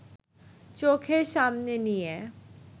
চোখের সামনে নিয়ে